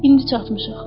İndi çatmışıq.